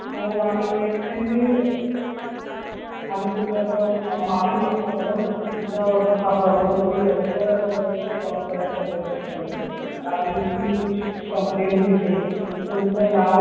हो आम्ही extremely आम्ही तुमच्याकडे माफी मागतो madam इथं हा problem म्हणजे लवकरात लवकर solve करायचं प्रयत्न करू आणि मी तुमची complaint घेते तुमचं नाव